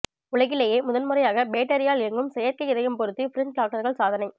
உலகிலேயே முதன்முறையாக பேட்டரியால் இயங்கும் செயற்கை இதயம் பொருத்தி பிரெஞ்ச் டாக்டர்கள் சாதனை